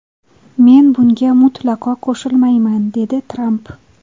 Men bunga mutlaqo qo‘shilmayman”, dedi Tramp.